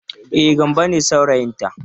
E, Gambo ne saurayinta.